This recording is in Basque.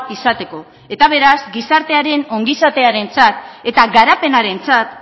izateko eta beraz gizartearen ongizatearentzat eta garapenarentzat